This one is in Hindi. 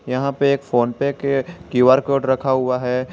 यहां पे एक फोन पे के क्यूं_आर कोड रखा हुआ है।